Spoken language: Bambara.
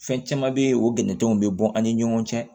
Fɛn caman bɛ yen o bɛnɛn tɛ bɔn an ni ɲɔgɔn cɛ